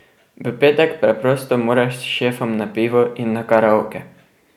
V petek preprosto moraš s šefom na pivo in na karaoke.